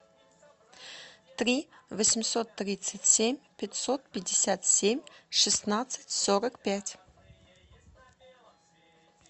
три восемьсот тридцать семь пятьсот пятьдесят семь шестнадцать сорок пять